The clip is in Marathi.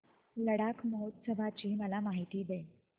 लडाख महोत्सवाची मला माहिती दे